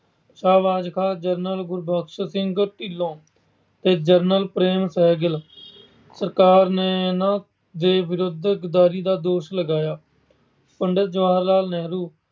Shahbaz Khan, general Gurbaksh Singh Dhillon ਤੇ general Prince Sehgal ਸਰਕਾਰ ਨੇ ਇਹਨਾਂ ਦੇ ਵਿਰੁੱਧ ਗਦਾਰੀ ਦਾ ਦੋਸ਼ ਲਗਾਇਆ। ਪੰਡਿਤ ਜਵਾਹਰ ਲਾਲ ਨਹਿਰੂ